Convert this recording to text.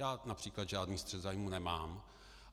Já například žádný střet zájmů nemám,